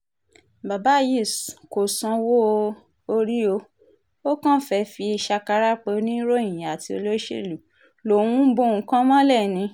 bàbá yìí kò sanwó-orí ó ó kàn fẹ́ẹ́ fi ṣàkàrà pé oníròyìn àti olóṣèlú lòún bo nǹkan mọ́lẹ̀ ni